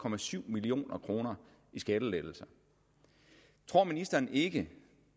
million kroner i skattelettelse tror ministeren ikke